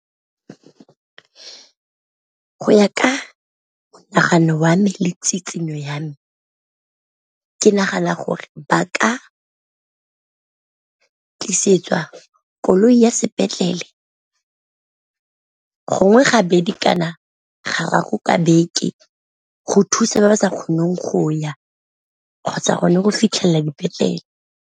Go ya ka monagano wa me le tsitsinyo ya me ke nagana gore ba ka tlisetswa koloi ka ya sepetlele gongwe ga bedi kana ga rraago ka beke, go thusa ba ba sa kgoneng go ya kgotsa gone go fitlhelela dipetlele.